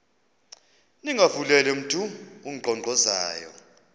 ningavuleli mntu unkqonkqozayo